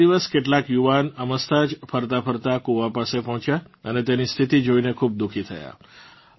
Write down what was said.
એક દિવસ કેટલાક યુવાન અમસ્તા જ ફરતાં ફરતાં કૂવા સુધી પહોંચ્યા અને તેની સ્થિતી જોઇને ખૂબ દુખી થયાં